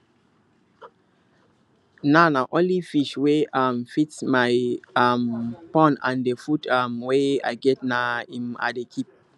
now na only fish wey um fit my um pond and the food um wey i get na im i dey keep